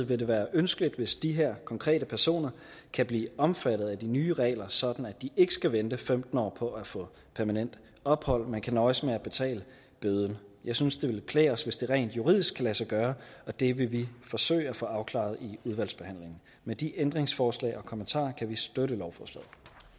vil det være ønskeligt hvis de her konkrete personer kan blive omfattet af de nye regler sådan at de ikke skal vente femten år på at få permanent ophold men kan nøjes med at betale bøden jeg synes det ville klæde os hvis det rent juridisk kunne lade sig gøre og det vil vi forsøge at få afklaret i udvalgsbehandlingen med de ændringsforslag og kommentarer kan vi støtte lovforslaget